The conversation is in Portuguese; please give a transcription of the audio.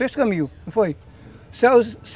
Dois caminhos, não foi